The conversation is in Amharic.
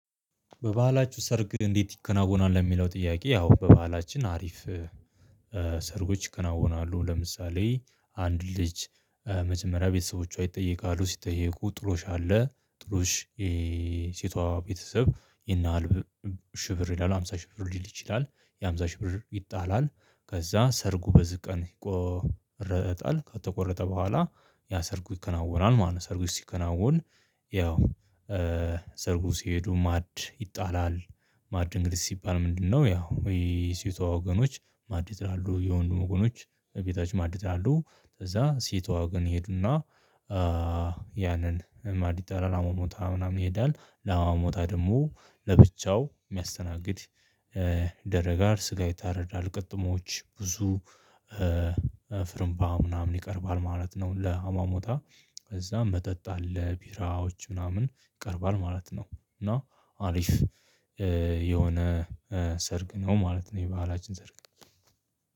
በባህላችሁ ሰርግ እንዴት? ይከናወናል የሚለው ጥያቄ ያው በባህላችን አሪፍ ሰርጎች ይከናወናሉ። ለምሳሌ አንድ ልጅ መጀመሪያ ቤተሰቦቿ ይጠይቃሉ ሲጠይቁ ጥሎሽ አለ ጥሎሽ የሴቷ ቤተሰብ የና ሽብር ይላል አምሳ ሽብር ሊል ይችላል የአምሳ ሺህ ብር ይጣላል ከዛ ሰርጉ በዚ ቀን ይቆረጣል ከተቆረጠ በኋላ ያ ሰርጉ ይከናወናል ማለት ነው። ሰርጉ ሲከናወን ያው ሰርጉ ሲሄዱ ማዕድ ይጣላል ማዕድ እንግዲ ሲባል ምንድነው? ያው የሴቷ ወገኖች ማዕድ ይጥላሉ የወንዱ ወገኖች ቤታች ማዲት አሉ ከዛ ሲቷ ግን ይሄዱና ያንን ማዕድ ይጣላል ሞሞታ ምናምን ይሄዳል ላማሞታ ደግሞ ለብቻው የሚያስተናግድ ይደረጋል ስጋ ይታረዳል ቅጥሞች ብዙ ፍርምባ ምናምን ይቀርባል ማለት ነው። ለአማሞታ ከዛ መጠጥ አለ ቢራዎች ምናምን ይቀርባል ማለት ነው። እና አሪፍ የሆነ ሰርግ ነው ማለት ነው። የባህላችን ሰርግ